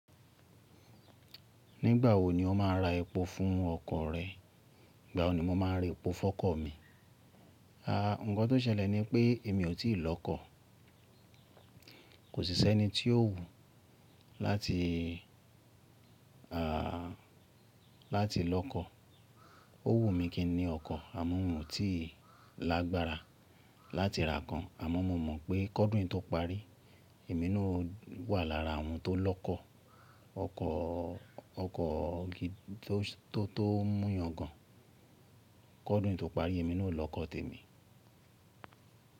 Nígbà wo ni o máa ra epo fún ọkọ̀ rẹ? Ígbà wo ni mo máa ra epo fún ọkọ̀ mi? Nǹkan tó ṣẹlẹ̀ ni pé èmi ò tí ì lọ́kọ̀. Kò sí sí ẹni tí ó wù láti lọ́kọ̀. Ó wù mí kí ni ọkọ̀ àmọ́ mo tí lágbára láti ra kan àmọ́ mo mọ̀ pé kódùn yi tó parí, èmi náà wà lára àwọn tó lọ́kọ̀ ọkọ̀ tó tó múyàn gan. Kódùn yi tó parí èmi náà ó lọ́kọ̀ tèmi.